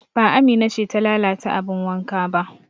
Ba Amina ce ta lalata abin wanka ba